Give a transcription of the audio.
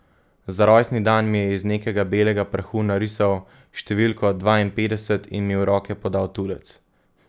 Za rojstni dan mi je iz nekega belega prahu narisal številko dvainpetdeset in mi v roke podal tulec.